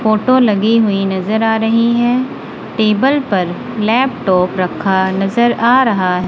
photo लगी हुई नजर आ रही हैं टेबल पर लैपटॉप रखा नजर आ रहा--